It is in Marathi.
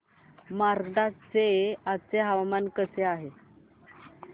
मार्कंडा चे आजचे हवामान कसे आहे